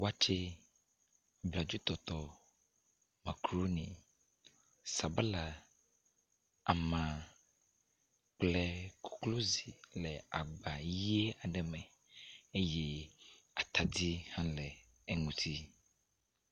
Watse, bladzotɔtɔ, makaɖoni, sabala, ama kple koklozi le agba ʋi aɖe me eye atadi hã le eŋuti.